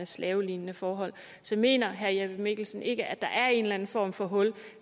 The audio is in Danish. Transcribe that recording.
slavelignende forhold så mener herre jeppe mikkelsen ikke at der er en eller anden form for hul